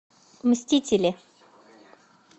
мстители